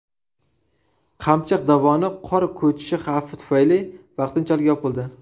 Qamchiq dovoni qor ko‘chishi xavfi tufayli vaqtinchalik yopildi.